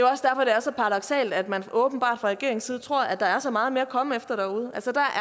er så paradoksalt at man åbenbart fra regeringens side tror at der er så meget mere at komme efter derude